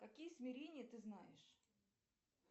какие смирения ты знаешь